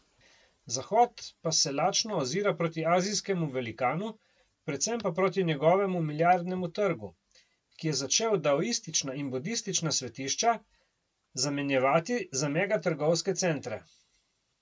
Zahod pa se lačno ozira proti azijskemu velikanu, predvsem pa proti njegovemu milijardnemu trgu, ki je začel daoistična in budistična svetišča zamenjevati za mega trgovske centre.